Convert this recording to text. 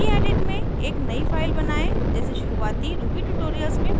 gedit में एक नयी फाइल बनायें जैसे शुरुवाती ruby ट्यूटोरियल्स में प्रदर्शित है